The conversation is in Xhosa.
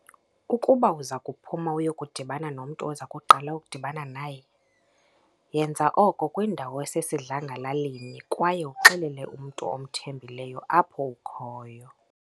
Ukuba uzakuphuma uyokudibana nomntu oza kuqala ukudibana naye, yenza oko kwindawo esesidlangalaleni kwaye uxelele umntu omthembileyo apho ukhoyo.